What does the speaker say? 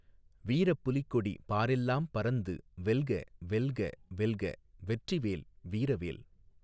வீரப் புலிக்கொடி பாரெல்லாம் பரந்து வெல்க வெல்க வெல்க வெற்றிவேல் வீரவேல்.